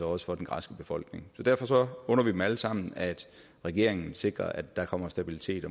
også for den græske befolkning derfor under vi dem alle sammen at regeringen sikrer at der kommer stabilitet